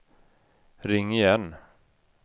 ring igen